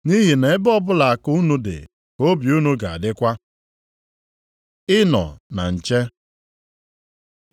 Nʼihi na ebe ọbụla akụ unu dị ka obi unu ga-adịkwa.” Ịnọ na nche